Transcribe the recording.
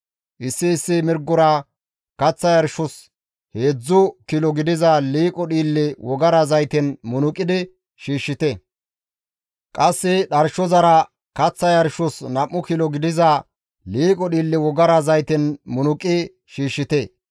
Issi issi mirgora kaththa yarshos heedzdzu kilo gidiza liiqo dhiille wogara zayten munuqidi shiishshite; qasse dharshozara kaththa yarshos nam7u kilo gidiza liiqo dhiille wogara zayten munuqi shiishshite;